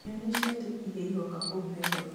nyonia ciathĩ iria iroka kũu nairobi